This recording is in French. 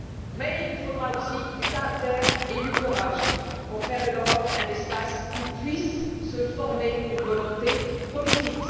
Cependant, il vous faudra aussi du caractère et du courage pour faire de l'Europe un espace où puisse se former une volonté politique.